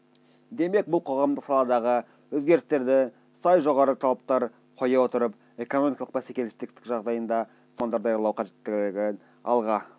демек бұл қоғамдық саладағы өзгерістерді сай жоғары талаптар қоя отырып экономикалық бәсекелестік жағдайында сапалы мамандар даярлау қажеттігін алға